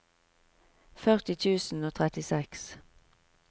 førti tusen og trettiseks